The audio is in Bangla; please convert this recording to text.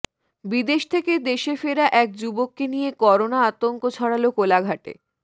বিদেশ থেকে দেশে ফেরা এক যুবককে নিয়ে করোনা আতঙ্ক ছড়াল কোলাঘাটে